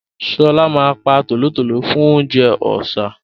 Ṣọlá ma pa tòlótòló fún oúnjẹ ọ̀sá